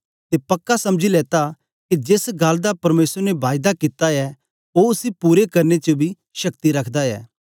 ते पक्का समझी लेता के जेस गल्ल दा परमेसर ने बायदा कित्ता ऐ ओ उसी पूरा करने च बी शक्ति रखदा ऐ